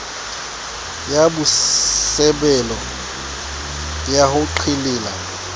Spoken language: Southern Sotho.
ya bosebolelo ya ho qhelela